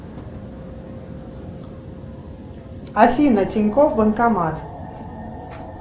афина тинькофф банкомат